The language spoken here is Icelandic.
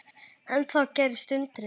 En þá gerðist undrið.